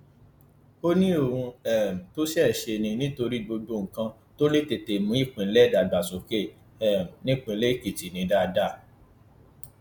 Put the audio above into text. ó ní ohun um tó ṣeé ṣe ni nítorí gbogbo nǹkan tó lè tètè mú ìpínlẹ dàgbàsókè um nípínlẹ èkìtì ni dáadáa